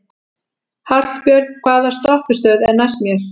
Hallbjörn, hvaða stoppistöð er næst mér?